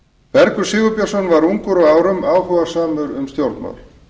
bergur sigurbjörnsson var ungur að árum áhugasamur um stjórnmál